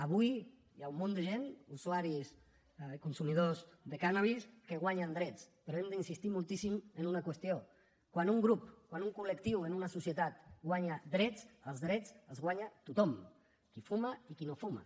avui hi ha un munt de gent usuaris consumidors de cànnabis que guanyen drets però hem d’insistir moltíssim en una qüestió quan un grup quan un col·lectiu en una societat guanya drets els drets els guanya tothom qui fuma i qui no fuma